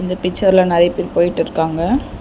இந்த பிச்சர்ல நறியா பேரு போயிட்ருக்காங்க.